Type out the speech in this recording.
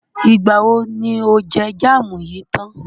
Ìgbà wo ni o jẹ jámù yìí tán?